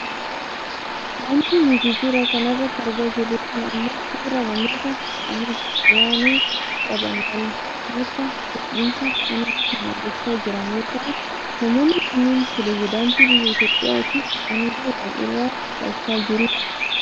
Wanti nuti suura kana irratti argaa jirru kun ammoo suuraa namoota aangoo olaanoo qaban wal harkaa fuudhinsa aangoo kan gochaa jiran yoo ta'u, namoonni kunneen piresedaantii biyya Itoopiyaa tiif aangoo wal irraa fudhachaa jiru.